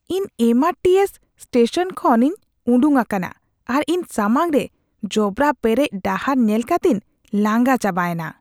ᱤᱧ M R T S station ᱠᱷᱚᱱ ᱤᱧ ᱩᱰᱩᱠ ᱟᱠᱟᱱᱟ ᱟᱨ ᱤᱧ ᱥᱟᱢᱟᱝ ᱨᱮ ᱡᱚᱵᱽᱨᱟ ᱯᱮᱨᱮᱡ ᱰᱟᱦᱟᱨ ᱧᱮᱞ ᱠᱟᱛᱤᱧ ᱞᱟᱸᱜᱟ ᱪᱟᱵᱟᱭᱮᱱᱟ ᱾